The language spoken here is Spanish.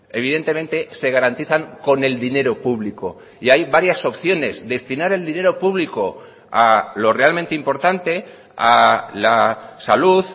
evidentemente se garantizan con el dinero público y hay varias opciones destinar el dinero público a lo realmente importante a la salud